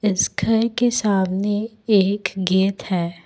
इस घर के सामने एक गेट है।